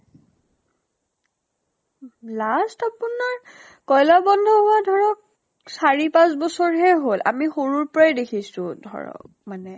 last আপোনাৰ কয়্লা বন্ধ হোৱা ধৰক চাৰি পাছঁ বছৰ হে হল। আমি সৰুৰ পৰাই দেখিছো ধৰক মানে।